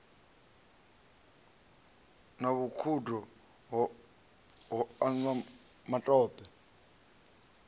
na vhukhudo ho anwa matope